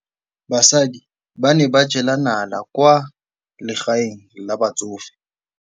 Basadi ba ne ba jela nala kwaa legaeng la batsofe.